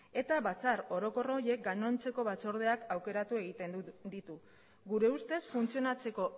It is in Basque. eta batzar orokor horiek gainontzeko batzordeak aukeratu egiten ditu gure ustez funtzionatzeko